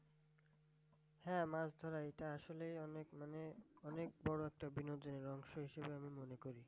হ্যাঁ মাছ ধরা এটা আসলে অনেক মানে অনেক বড় একটা বিনোদনের অংশ হিসেবে আমি মনে করি।